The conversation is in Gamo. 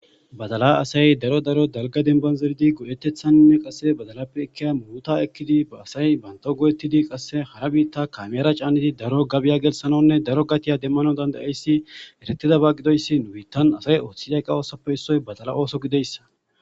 Badala asay daro daro dalgan demban zeridi go'etethan qase badalape muruta ekidi ba asay Banta go'etidi ba asaqase hara bitta kamera canidi daro gabiy gelthanawne daro gabiy demanaw danda'es eretiyaban gidoysi bittan asay othape badala osso gidoysa